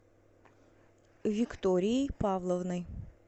викторией павловной